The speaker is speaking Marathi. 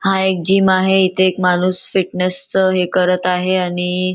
हा एक जिम आहे आणि इथे एक माणूस फिटनेस च हे करत आहे आणि--